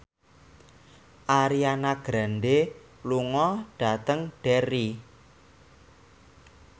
Ariana Grande lunga dhateng Derry